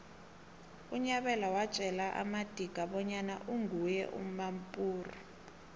unyabela watjela amadika bonyana uginye umampuru